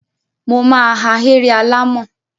Mo ma ahéré alàmọ̀.